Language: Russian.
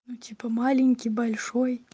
ну типа маленький большой